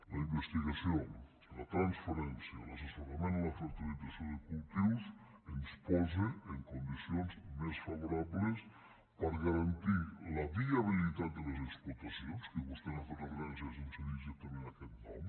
la investigació la transferència l’assessorament en la fertilització de cultius ens posen en condicions més favorables per a garantir la viabilitat de les explotacions que vostè n’ha fet referència sense dir exactament aquest nom